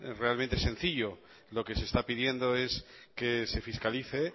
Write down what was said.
realmente sencillo lo que se está pidiendo es que se fiscalice